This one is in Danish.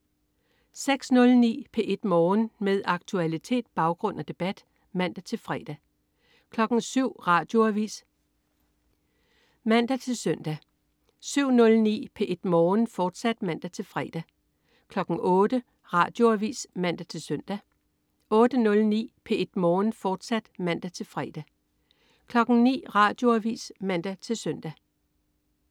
06.09 P1 Morgen. Med aktualitet, baggrund og debat (man-fre) 07.00 Radioavis (man-søn) 07.09 P1 Morgen, fortsat (man-fre) 08.00 Radioavis (man-søn) 08.09 P1 Morgen, fortsat (man-fre) 09.00 Radioavis (man-søn)